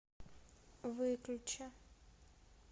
выключи